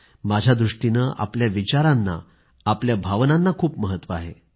माझ्या दृष्टीने आपल्या विचारांना आपल्या भावनांना खूप महत्व आहे